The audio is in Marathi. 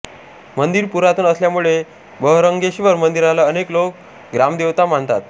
मंदिर पुरातन असल्यामुळे बहरंगेश्वर मंदिराला अनेक लोक ग्रामदेवता मानतात